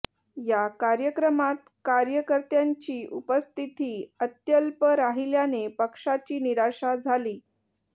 या कार्यक्रमात कार्यकर्त्यांची उपस्थिती अत्यल्प राहिल्याने पक्षाची निराशा झाली